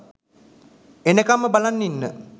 එනකම්ම බලන් ඉන්න